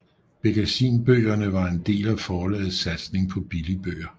Bekkasinbøgerne var en del af forlagets satsning på billigbøger